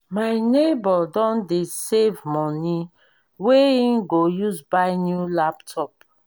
my nebor don dey save money wey he go use buy new laptop.